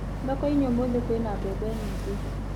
Thoko-inĩ ũmũthĩ kwĩna mbembe nyingĩ